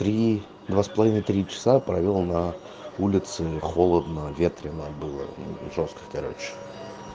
три два с половиной три часа провёл на улице холодно ветрено было жёстко короче